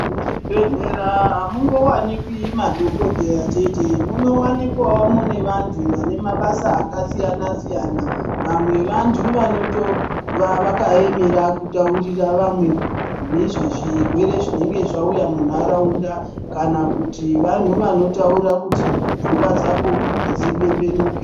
Muzvibhehlera hamungowanikwi madhokodheya chete. Munowanikwawo mune vantu vane mabasa akasiyana-siyana. Vamwe vantu vanotova vakaemera kutaurira vamwe nezvezvirwere zvinenge zvauya munharaunda. Kana kuti vanhu vanotaura kuti pfungwa dzako dzipembenuke.